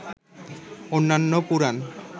অন্যান্য পুরাণ